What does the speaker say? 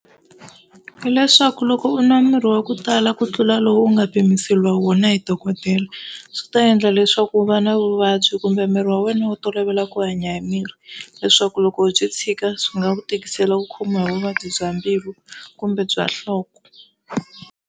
Leswaku loko u nwa mirhi wa ku tala ku tlula lowu u nga pimiseriwa wona hi dokodela swi ta endla leswaku u va na vuvabyi kumbe miri wa wena wu tolovela ku hanya hi mirhi, leswaku loko byi tshika swi nga ku tikisela ku khomiwa hi vuvabyi bya mbilu kumbe bya nhloko.